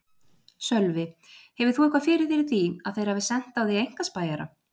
Sölvi: Hefur þú eitthvað fyrir þér í því að þeir hafi sent á þig einkaspæjara?